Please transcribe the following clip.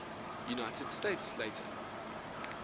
united states later